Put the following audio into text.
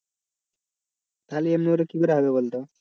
তাহলে এরম ভাবে কি করে হবে বলতো?